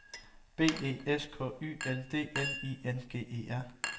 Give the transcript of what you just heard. B E S K Y L D N I N G E R